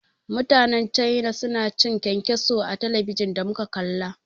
Mutanen cana suna cin kyankyaso a talabijin da muka kalla.